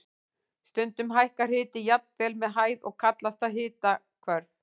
Stundum hækkar hiti jafnvel með hæð og kallast það hitahvörf.